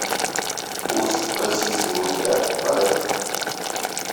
курс российского рубля продать